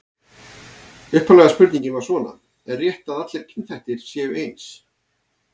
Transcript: Upphaflega spurningin var svona: Er rétt að allir kynþættir séu eins?